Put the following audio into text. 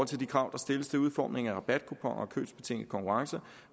til de krav der stilles til udformningen af rabatkuponer og købsbetingede konkurrencer